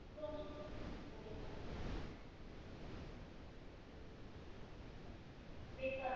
বেকারত্ব